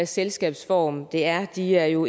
selskabsform det er de er jo